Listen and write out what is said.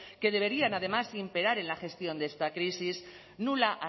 que deberían además imperar en la gestión de esta crisis nula